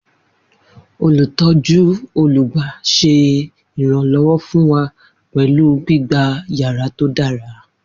Olutọju olugba ṣe iranlọwọ fun wa pẹlu gbigba yara to dara